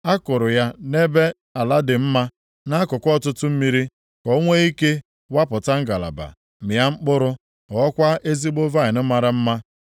A kụrụ ya nʼebe ala dị mma, nʼakụkụ ọtụtụ mmiri, ka o nwee ike wapụta ngalaba, mịa mkpụrụ, ghọọkwa ezigbo vaịnị mara mma.’